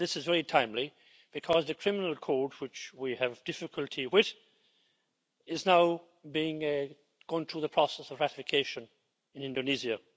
Well this is very timely, because the Criminal Code, which we have difficulty with, is now going through the process of ratification in Indonesia.